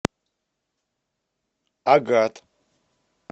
агат